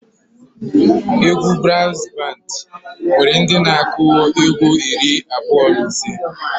Egwu braazụ bandị nwere ndị na-akụ egwu iri abụọ na ise.